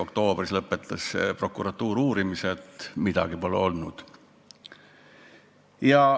Oktoobris lõpetas prokuratuur uurimise, öeldes, et midagi pole olnud.